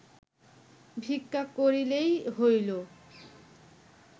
ভিক্ষা করিলেই হইল